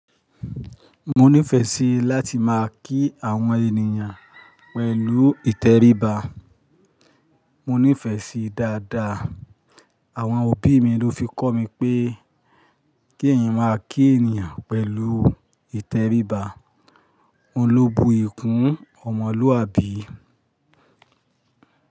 Mo nífẹ̀ẹ́ sí láti máa kí àwọn ènìyàn pẹ̀lú ìtẹríba. Mo nífẹ̀ẹ́ sí dáadáa. Àwọn òbí mi ló fi kọ́ mi pé kí ẹ̀yin máa kí ènìyàn pẹ̀lú ìtẹríba, òun ló bu iyi kún ọmọlúwàbí.